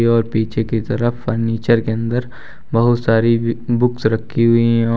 और पीछे की तरफ फर्नीचर के अंदर बहुत सारी बि बुक्स रखी हुई हैं और--